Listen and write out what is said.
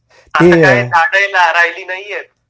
आता काय झाड ही राहिली नाहीयेत,